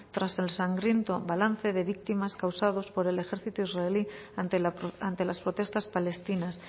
tras el sangriento balance de víctimas causados por el ejército israelí ante las protestas palestinas